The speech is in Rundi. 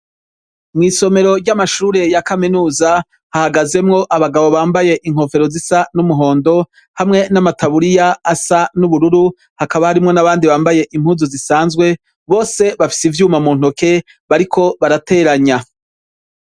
Mw'isomero ry'Amashure ya Kaminuza, hahagazemwo abagabo bambaye inkofero zisa n'umuhondo, hamwe n'amataburiya asa n'ubururu, hakaba harimwo n'abandi bambaye Impuzu zisanzwe, Bose bafise ivyuma muntoke bariko barateranya.